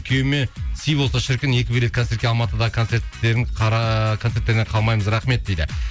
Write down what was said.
күйеуіме сый болса шіркін екі билет концертке алматыдағы концерттерінен қалмаймыз рахмет дейді